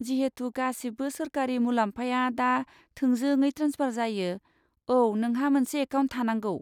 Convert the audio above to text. जिहेतु गासिबो सोरखारि मुलाम्फाया दा थोंजोंङै ट्रेन्सफार जायो, औ, नोंहा मोनसे एकाउन्ट थानांगौ।